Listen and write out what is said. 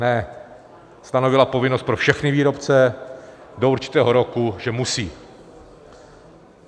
Ne, stanovila povinnost pro všechny výrobce do určitého roku, že musí.